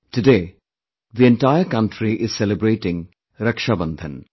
Today, the entire country is celebrating Rakshabandhan